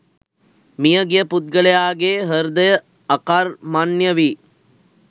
මියගිය පුද්ගලයාගේ හෘදය අකර්මණ්‍ය වී